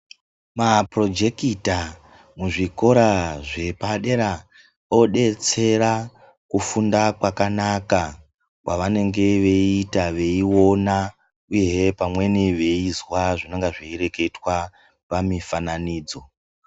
Mapurojekita muzvikora zvepadera obetsera kufunda kwakanaka kwavanenge veita veiona uye pamweni eizwa zvinenge zveireketwa pamifananidzo .